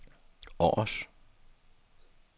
Aars